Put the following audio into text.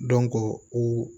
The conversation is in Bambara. u